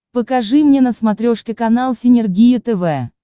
покажи мне на смотрешке канал синергия тв